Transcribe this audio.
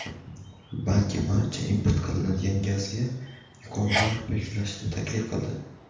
balki barcha import qilinadigan gazga yuqori narx belgilashni taklif qildi.